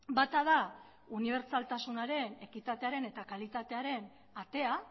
bata da unibertsaltasunaren ekitatearen eta kalitatearen atea